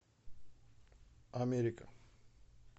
америка